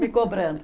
Me cobrando.